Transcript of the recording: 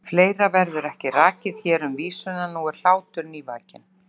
Fleira verður ekki rakið hér um vísuna: Nú er hlátur nývakinn.